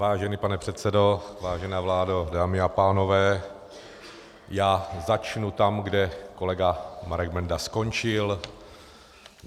Vážený pane předsedo, vážená vládo, dámy a pánové, já začnu tam, kde kolega Marek Benda skončil.